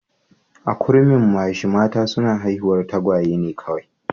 A Kurumimachi mata suna haihuwar tagwaye ne kawai